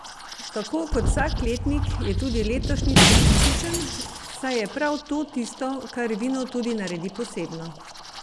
Tako kot vsak letnik, je tudi letošnji specifičen, saj je prav to tisto, kar vino tudi naredi posebno.